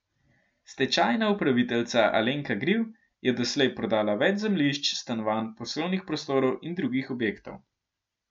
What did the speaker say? Stečajna upraviteljica Alenka Gril je doslej prodala več zemljišč, stanovanj, poslovnih prostorov in drugih objektov.